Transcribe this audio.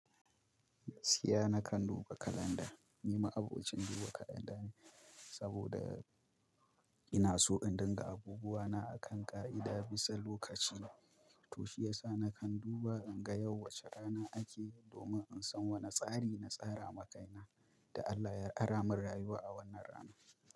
Tsiya na kan duba kalanda. Ni ma abokin duba kalanda ne saboda ina so in dinga abubuwa na akan ƙa'ida bisa lokaci. To shiyasa na kan duba in ga yau wace rana ake domin in san wane tsari na tsara makaina da Allah ya aramin rayuwa a wannan rana.